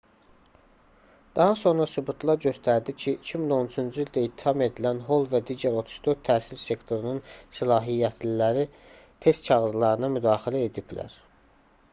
daha sonra sübutlar göstərdi ki 2013-cü ildə ittiham edilən hol və digər 34 təhsil sektorunun səlahiyyətliləri test kağızlarına müdaxilə ediblər